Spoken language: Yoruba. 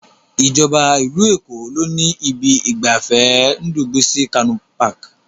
Ìjọba ìlú Èkó ló ni ibi ìgbafẹ́ Ndubuisi Kanu Park.